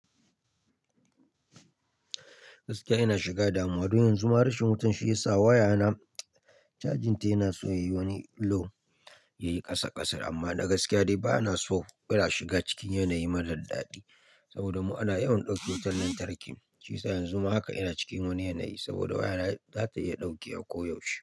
Gaskiya ina shiga damuwa domin yanzu ma rashin wutan shiyasa waya na cajin ta yana so yayi wani low yayi kasa kasar amma na gaskiya dai bana so ina shiga cikin yanayi marar dadi saboda mu ana yawan dauke wutan lantarki shiyasa yanzu haka ina cikin wani yanayi saboda waya na za ta iya dauke wa ko yaushe.